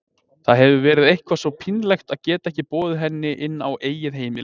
Það hefði verið eitthvað svo pínlegt að geta ekki boðið henni inn á eigið heimili.